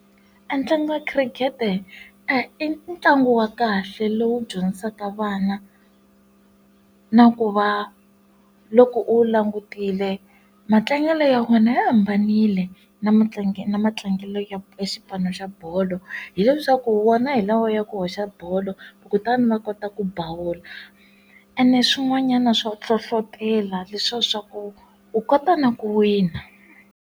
Entlangu wa khirikete e i ntlangu wa kahle lowu dyondzisaka vana na ku va loko u langutile matlangelo ya wena ya hambanile na mutlangi na matlangelo ya xipano xa bolo hileswaku ku wona hi lawa ya ku hoxa bolo kutani va kota ku bowl-a ene swin'wanyana swo hlohlotelo leswiya swa ku u kota na ku wina.